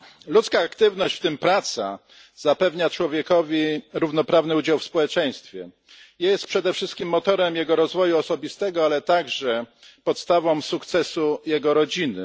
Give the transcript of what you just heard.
Ludzka aktywność, w tym praca, zapewnia człowiekowi równoprawny udział w społeczeństwie, jest przede wszystkim motorem jego rozwoju osobistego, ale także podstawą sukcesu jego rodziny.